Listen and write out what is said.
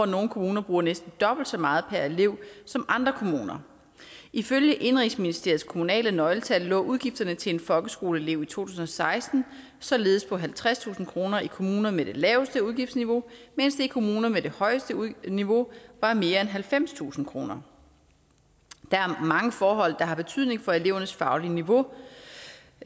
nogle kommuner bruger næsten dobbelt så meget per elev som andre kommuner ifølge indenrigsministeriets kommunale nøgletal lå udgifterne til en folkeskoleelev i to tusind og seksten således på halvtredstusind kroner i kommuner med det laveste udgiftsniveau mens det i kommuner med det højeste niveau var mere end halvfemstusind kroner der er mange forhold der har betydning for elevernes faglige niveau